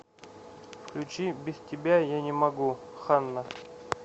включи без тебя я не могу ханна